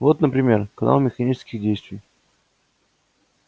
вот например канал механических действий